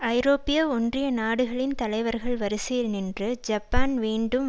ஐரோப்பிய ஒன்றிய நாடுகளின் தலைவர்கள் வரிசையில் நின்று ஜப்பான் வேண்டும்